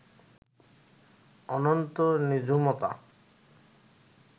অনন্ত নিঝুমতা